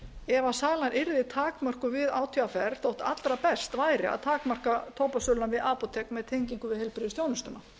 ef sala yrðu takmörkuð við átvr þótt allra best væri að takmarka tóbakssöluna við apótek með tengingu við heilbrigðisþjónustuna